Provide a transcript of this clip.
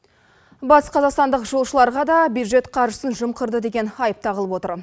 батысқазақстандық жолшыларға да бюджет қаржысын жымқырды деген айып тағылып отыр